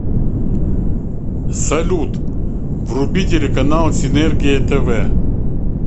салют вруби телеканал синергия тв